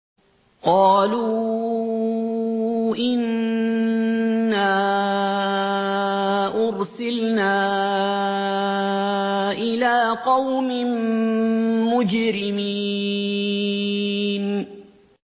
قَالُوا إِنَّا أُرْسِلْنَا إِلَىٰ قَوْمٍ مُّجْرِمِينَ